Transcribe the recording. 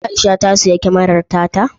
Aisha ta siyi kyamarar ta ta?